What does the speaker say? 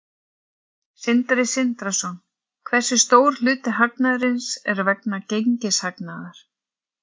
Sindri Sindrason: Hversu stór hluti hagnaðarins er vegna gengishagnaðar?